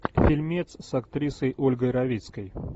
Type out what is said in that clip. фильмец с актрисой ольгой равицкой